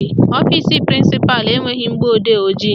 Ọfisi prịnsịpalụ enweghị mgbọodee ojii